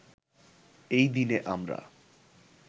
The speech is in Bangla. এই দিনে আমরা